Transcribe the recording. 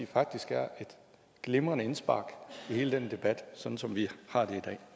faktisk er et glimrende indspark i hele den debat sådan som vi har